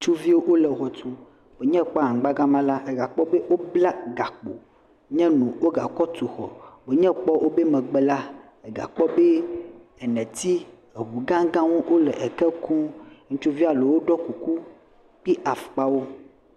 Ŋutsuviwo le xɔ tum. Ne ekpɔ anyigba gema la, eyi ge akpɔ be wobla gakpo nye nu woga kɔ tu xɔ wonye ekpɔ woƒe megbe la, egakpɔ be neti, ŋu gãgawo le ke kum. Ŋutsuvi ɖewo ɖɔ kuku kple afɔkpawo.